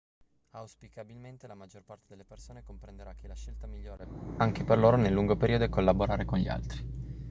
auspicabilmente la maggior parte delle persone comprenderà che la scelta migliore anche per loro nel lungo periodo è collaborare con gli altri